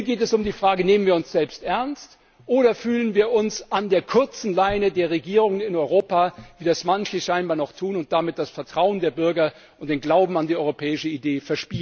Hier geht es um die Frage Nehmen wir uns selbst ernst oder fühlen wir uns an der kurzen Leine der Regierungen in Europa, wie das manche scheinbar noch tun und damit das Vertrauen der Bürger und den Glauben an die europäische Idee